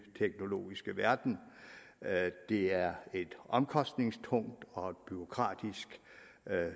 teknologiske verden det er et omkostningstungt og et bureaukratisk